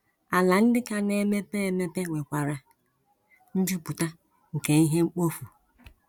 Ala ndị ka na - emepe emepe nwekwara njupụta nke ihe mkpofu.